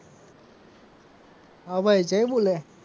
હા ભાઈ જય બોલે.